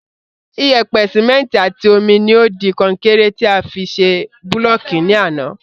Iyèpè, Síméntì àti omi ni o di konkéré ti a fi ṣe búlọ̀kì ní àná